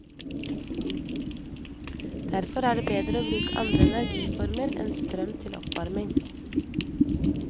Derfor er det bedre å bruke andre energiformer enn strøm til oppvarming.